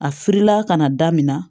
A firila ka na da min na